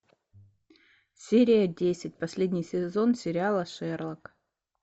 серия десять последний сезон сериала шерлок